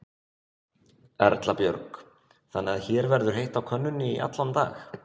Erla Björg: Þannig að hér verður heitt á könnunni í allan dag?